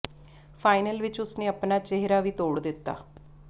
final ਵਿੱਚ ਉਸ ਨੇ ਆਪਣਾ ਚਿਹਰਾ ਵੀ ਤੋੜ ਦਿੱਤਾ